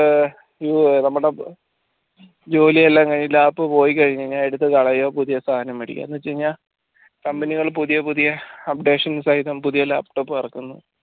നമ്മടെ ജോലിയെല്ലാം കഴിഞ്ഞ് lap പോയിക്കഴിഞ്ഞ എടുത്ത് കളയാ പുതിയ സാധനം മേടിക്ക എന്ന് വെച്ചുകഴിഞ്ഞാ company കൾ പുതിയ പുതിയ updations ആയി പുതിയ laptop ഇറക്കുന്നു